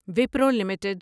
Wipro limited